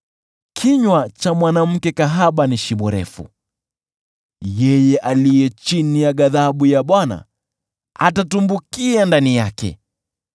Kinywa cha mwanamke kahaba ni shimo refu; yeye aliye chini ya ghadhabu ya Bwana atatumbukia ndani yake.